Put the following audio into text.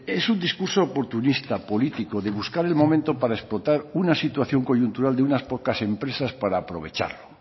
es un discurso oportunista político de buscarle el momento para explotar una situación coyuntural de unas pocas empresas para aprovecharlo